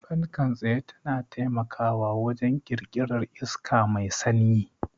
Fankar tsaye tana taimakawa wajen ƙirƙirar iska mai sanyi.